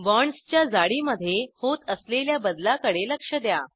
बाँड्सच्या जाडीमध्ये होत असलेल्या बदलाकडे लक्ष द्या